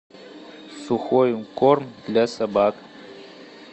сухой корм для собак